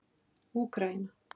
Úkraína